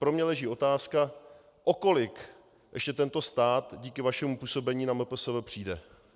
Pro mě leží otázka, o kolik ještě tento stát díky vašemu působení na MPSV přijde.